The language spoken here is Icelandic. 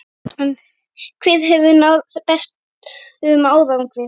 Hver hefur náð bestum árangri?